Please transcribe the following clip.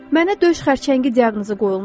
Mənə döş xərçəngi diaqnozu qoyulmuşdu.